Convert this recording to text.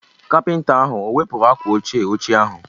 Kapịnta ahụ o wepụrụ akwa oche ochie ahụ?